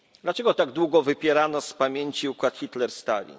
Dlaczego tak długo wypierano z pamięci układ Hitler Stalin?